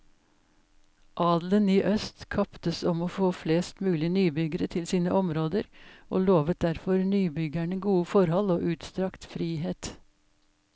Adelen i øst kaptes om å få flest mulig nybyggere til sine områder, og lovet derfor nybyggerne gode forhold og utstrakt frihet.